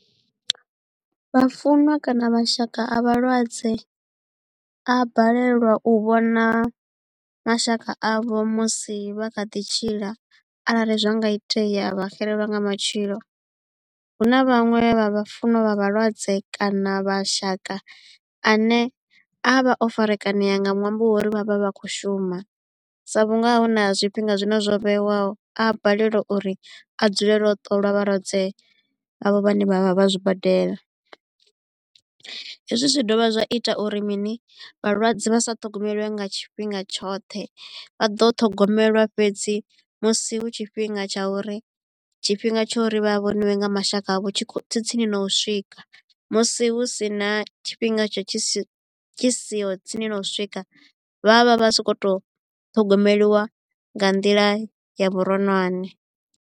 Vhafunwa kana mashaka a vhalwadze a balelwa u vhona mashaka avho musi vha kha ḓi tshila arali zwa nga itea vha xelelwa nga matshilo hu na vhaṅwe vha vhafunwa vha vhalwadze kana mashaka ane a vha o farakanea nga ṅwambo wa uri vha vha vha kho shuma sa vhunga hu na zwifhinga zwine zwo vheiwaho a balelwa uri a dzulele u ṱolwa vhalwadze avho vhane vha vha vha zwibadela. Hezwi zwi dovha zwa ita uri mini vhalwadze vha sa ṱhogomelwe nga tshifhinga tshoṱhe vha ḓo ṱhogomelwa fhedzi musi hu tshifhinga tsha uri tshifhinga tsha uri vha vhoniwe nga mashaka avho tshi tsini na u swika musi hu si na tshifhinga tshi tshi siho tsini na u swika vha vha vha so ko to ṱhogomeliwa nga nḓila ya vhuronwane.